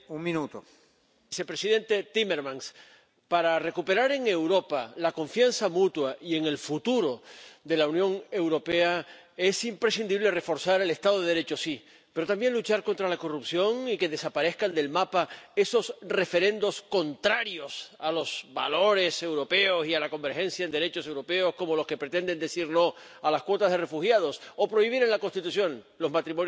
Señor presidente, señor Timmermans, para recuperar en Europa la confianza mutua y en el futuro de la Unión Europea, es imprescindible reforzar el Estado de Derecho, sí, pero también luchar contra la corrupción y que desaparezcan del mapa esos referendos contrarios a los valores europeos y a la convergencia en derechos europeos, como los que pretenden decir no a las cuotas de refugiados o prohibir en la Constitución los matrimonios del mismo sexo.